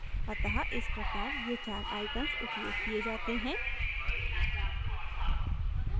अतः इस प्रकार ये चार icons उपयोग किये जाते हैं